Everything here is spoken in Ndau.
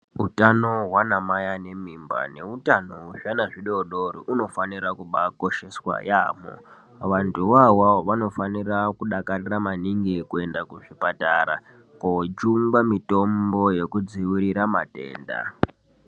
Utano hwanamai ane mimba neutano hwwzvana zvidori dori hunofanira kubakosheswa yaamo. Vantu iwawawo vanofanira kudakarira maningi kuenda kuzvipatara kojungwa mitombo yekudziwirira matenda.